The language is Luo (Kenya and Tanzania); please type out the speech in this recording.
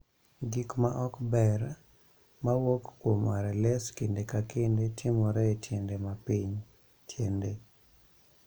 Gik ma ok ber ma wuok kuom RLS kinde ka kinde timore e tiende ma piny (tiende).